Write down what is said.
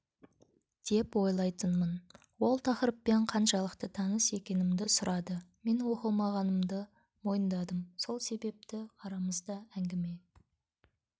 деп ойлайтынмын ол тақырыппен қаншалықты таныс екенімді сұрады мен оқымағанымды мойындадым сол себепті арамызда әңгіме